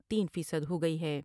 تین فیصد ہوگئی ہے ۔